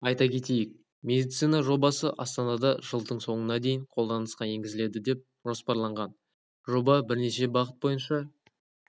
айта кетейік медицина жобасы астанада жылдың соңына дейін қолданысқа енгізіледі деп жоспарланған жоба бірнеше бағыт бойынша